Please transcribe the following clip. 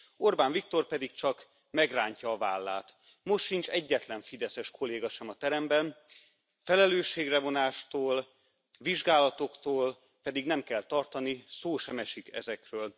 Orbán Viktor pedig csak megrántja a vállát. Most sincs egyetlen fideszes kolléga sem a teremben, felelősségre vonástól, vizsgálatoktól pedig nem kell tartani, szó sem esik ezekről.